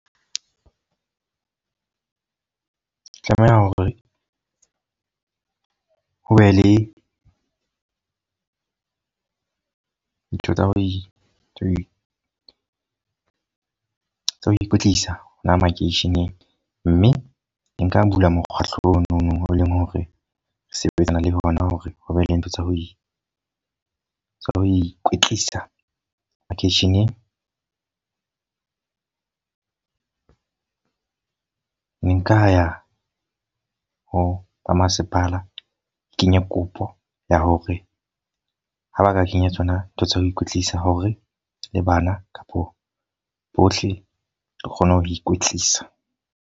O tlameha hore ho be le ntho tsa ho, tsa ho ikwetlisa hona makeisheneng. Mme nka bula mokgahlo ono o leng hore re sebetsana le hona hore ho be le ntho tsa ho tswa ho ikwetlisa makeisheneng. Nka ya ho masepala re kenye kopo ya hore ha ba ka kenya tsona ntho tsa ho ikwetlisa. Hore le bana kapo bohle re kgone ho ikwetlisa.